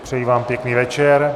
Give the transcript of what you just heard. Přeji vám pěkný večer.